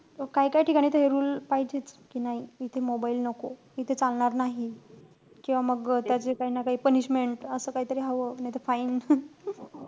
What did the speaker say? तो काई काई ठिकाणी rule पाहिजेच. कि नाई इथे mobile नको. इथे चालणार नाही, किंवा मग त्याची काई ना काई punishment असं काई तरी हवं, नाई त fine.